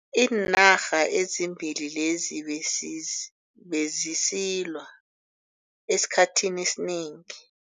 Iinarha ezimbili lezi bezis bezisilwa esikhathini esinengi.